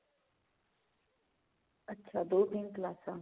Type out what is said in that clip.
ਅੱਛਾ ਦੋ ਦਿਨ ਕਲਾਸਾਂ